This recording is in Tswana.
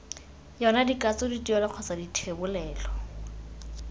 yona dikatso dituelo kgotsa dithebolelo